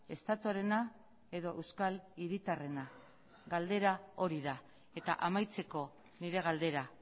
estatuarena edo euskal hiritarrena galdera hori da eta amaitzeko nire galdera